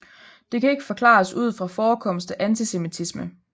Det kan ikke forklares ud fra forekomst af antisemittisme